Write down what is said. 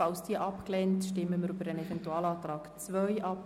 Falls diese abgelehnt wird, stimmen wir über den Eventualantrag 2 ab.